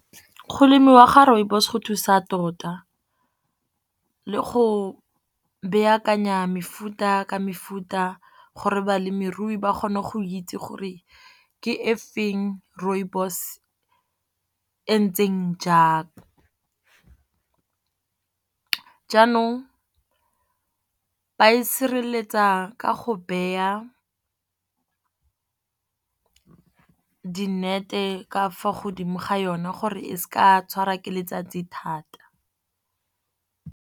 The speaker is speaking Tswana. Go lemiwa ga rooibos go thusa tota, le go mefuta ka mefuta gore balemirui ba kgone go itse gore ke e feng rooibos entseng jang. Jaanong ba e sireletsa ka go beya di-net-e ka fo godimo ga yona gore e se ka ya tshwara ke letsatsi thata.